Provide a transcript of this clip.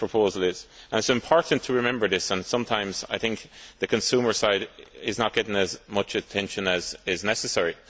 It is important to remember this, and sometimes I think the consumer side is not getting as much attention as is necessary.